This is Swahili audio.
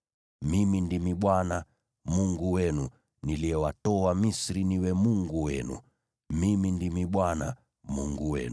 Mimi Ndimi Bwana Mungu wenu, niliyewatoa Misri niwe Mungu wenu. Mimi Ndimi Bwana Mungu wenu.’ ”